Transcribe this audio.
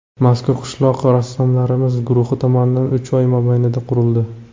Mazkur qishloq rassomlarimiz guruhi tomonidan uch oy mobaynida qurildi.